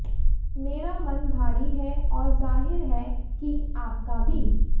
मेरा मन भारी है और जाहिर है कि आपका भी